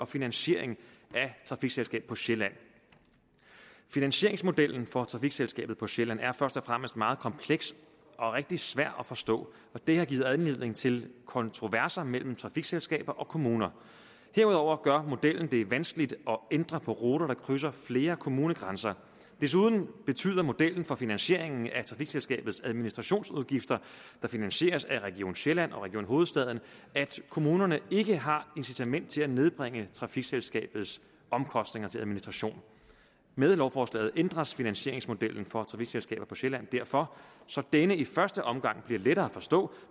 finansieringen af trafikselskabet på sjælland finansieringsmodellen for trafikselskabet på sjælland er først og fremmest meget kompleks og rigtig svær at forstå og det har givet anledning til kontroverser mellem trafikselskabet og kommuner herudover gør modellen det vanskeligt at ændre på ruter der krydser flere kommunegrænser desuden betyder modellen for finansieringen af trafikselskabets administrationsudgifter der finansieres af region sjælland og region hovedstaden at kommunerne ikke har incitament til at nedbringe trafikselskabets omkostninger til administration med lovforslaget ændres finansieringsmodellen for trafikselskabet på sjælland derfor så denne i første omgang bliver lettere at forstå